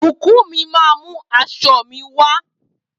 Bukunmi màá mú aṣọ mi wá